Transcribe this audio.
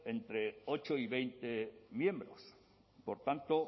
entre ocho y veinte miembros por tanto